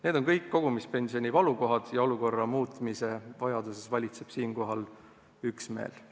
Need on kõik kogumispensioni valukohad ja valitseb üksmeel, et olukorda tuleb muuta.